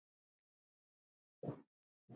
Ekki afi minn.